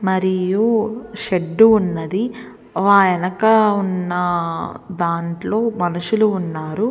మరియు షెడ్ ఉన్నది ఆయనక ఉన్నా దాంట్లో మనుషులు ఉన్నారు --